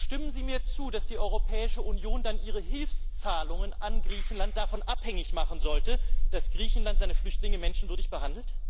Stimmen Sie mir zu, dass die Europäische Union dann ihre Hilfszahlungen an Griechenland davon abhängig machen sollte, dass Griechenland seine Flüchtlinge menschenwürdig behandelt?